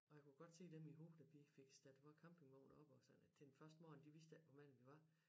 Og jeg kunne godt se dem i hovedet da vi fik stillet vor campingvogn op og sådan til den første morgen de vidste ikke hvor mange vi var